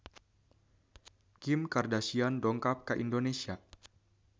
Kim Kardashian dongkap ka Indonesia